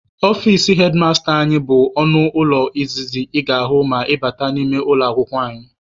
Ọfici hedmasta anyị bụ ọnụ ụlọ izizi ị ga-ahụ ma ị bata n'ime ụlọ akwụkwọ anyị.